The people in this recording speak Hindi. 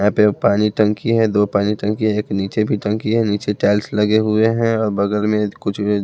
यहां पे पानी टंकी हैं दो पानी टंकी हैं एक नीचे भी टंकी है नीचे टाइल्स लगे हुए हैं और बगल में कुछ --